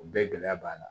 O bɛɛ gɛlɛya b'a la